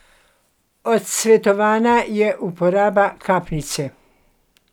Odsvetovana je uporaba kapnice.